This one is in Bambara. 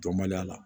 Dɔnbaliya la